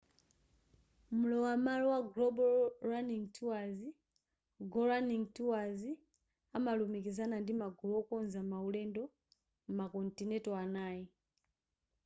mlowa malo wa global running tours go running tours amalumikizana ndi magulu okonza ma ulendo m'ma kontinenti anayi